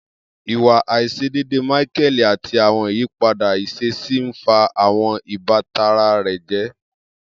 Iwa aiṣedeede Michael ati awọn iyipada iṣesi n fa awọn ibatan rẹ jẹ.